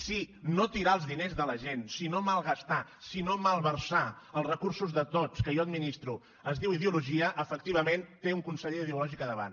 si no tirar els diners de la gent si no malgastar si no malversar els recursos de tots que jo administro es diu ideologia efectivament té un conseller ideològic a davant